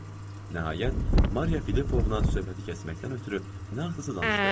Nəhayət, Mariya Filipovna söhbəti kəsməkdən ötrü nə axtarsa danışdı.